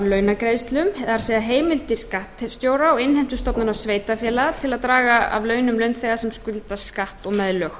launagreiðslum það er heimild til skattstjóra og innheimtustofnunar sveitarfélaga til að draga af launum launþega sem skulda skatt og meðlög